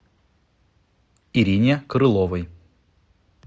ирине крыловой